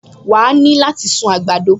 Wà á ní láti sun àgbàdo